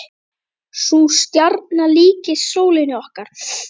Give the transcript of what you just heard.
Sú stjarna líkist sólinni okkar.